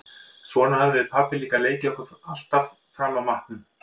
Svona höfðum við pabbi líka leikið okkur alltaf fram að matnum.